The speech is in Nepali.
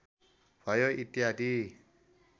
भयो इत्यादि